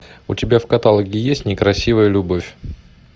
у тебя в каталоге есть некрасивая любовь